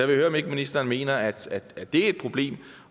vil høre om ikke ministeren mener at det er et problem